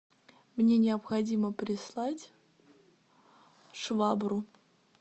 мне необходимо прислать швабру